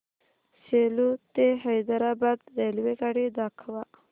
सेलू ते हैदराबाद रेल्वेगाडी दाखवा